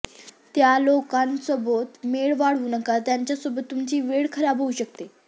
त्या लोकांसोबत मेळ वाढवू नका ज्यांच्या सोबत तुमची वेळ खराब होऊ शकते